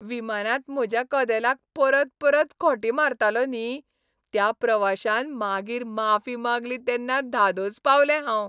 विमानांत म्हज्या कदेलाक परतपरत खोंटी मारतालो न्ही, त्या प्रवाश्यान मागीर माफी मागली तेन्ना धादोस पावलें हांव.